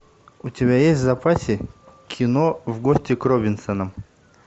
у тебя есть в запасе кино в гости к робинсонам